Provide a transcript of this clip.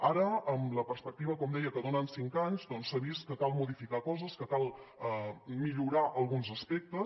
ara amb la perspectiva com deia que donen cinc anys doncs s’ha vist que cal modificar coses que cal millorar alguns aspectes